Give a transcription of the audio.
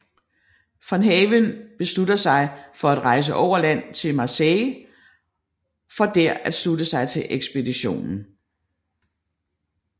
Von Haven beslutter sig for at rejse over land til Marseille for der at slutte sig til ekspeditionen